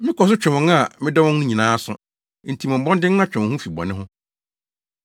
Mekɔ so twe wɔn a medɔ wɔn no nyinaa aso. Enti bɔ mmɔden na twe wo ho fi bɔne ho.